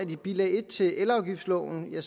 i bilag en til elafgiftsloven er